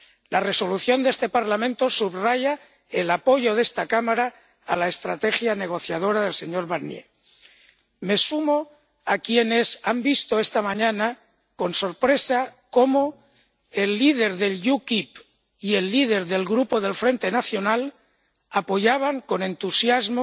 La Resolución de este Parlamento subraya el apoyo de esta Cámara a la estrategia negociadora del señor Barnier. Me sumo a quienes han visto esta mañana con sorpresa como el líder del UKIP y el líder del grupo del Frente Nacional apoyaban con entusiasmo